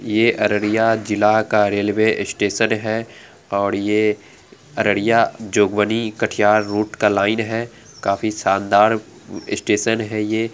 ये अररिया जिला का रेल्वे स्टेशन है और ये अररिया कठिया रोड का लाइन है काफी शानदार स्टेशन है ये ।